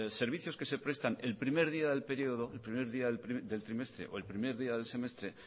servicios que se prestan el primer día del periodo el primer día del trimestre o el primer día del semestre